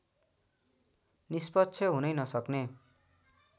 निष्पक्ष हुनै नसक्ने